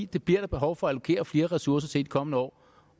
det bliver der behov for at allokere flere ressourcer til i de kommende år